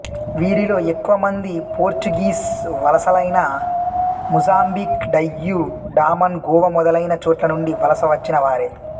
వీరిలో ఎక్కువ మంది పోర్చుగీస్ వలసలైన మొజాంబిక్ డయ్యూ డామన్ గోవా మొదలైన చోట్ల నుండి వలస వచ్చిన వారే